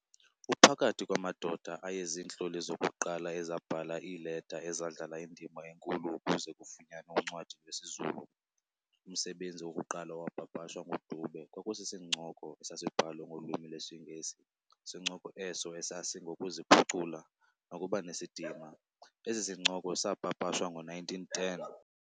Uphakathi kwamadoda aye ziintloli zokuqala ezabhala iileta ezadlala indima enkulu ukuze kufunyanwe uncwadi lwesiZulu. Umsebenzi wokuqala owapapashwa nguDube kwakusisincoko esasibhalwe ngolwimi lwesiNgesi sincoko eso esasingokuziphucula nokubanesidima. Esi sincoko saapapashwa ngo-1910.